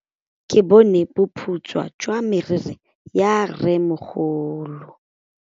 Ke bone boputswa jwa meriri ya rrêmogolo.